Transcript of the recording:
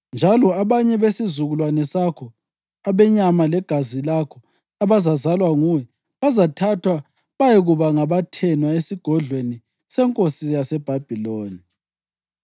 Njalo abanye besizukulwane sakho, abenyama legazi lakho, abazazalwa nguwe, bazathathwa bayekuba ngabathenwa esigodlweni senkosi yaseBhabhiloni.”